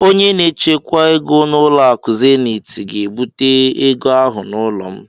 Onye na-echekwa ego nke ụlọakụ Zeniiti ga-ebute ego ahụ n'ụlọ m.